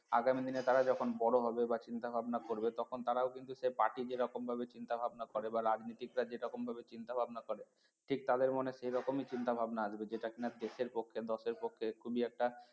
আগামী দিনে তারা যখন বড় হবে বা চিন্তা ভাবনা করবে তখন তারাও কিন্তু সেই party যে রকম ভাবে চিন্তা ভাবনা করে বা রাজনীতিকরা যে রকম ভাবে চিন্তা ভাবনা করে ঠিক তাদের মনে সেই রকমই চিন্তা ভাবনা আসবে যেটা কিনা দেশের পক্ষে দশের পক্ষে খুবই একটা